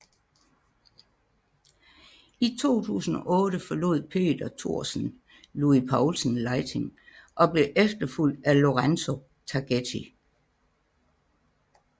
I 2008 forlod Peter Thorsen Louis Poulsen Lighting og blev efterfulgt af Lorenzo Targetti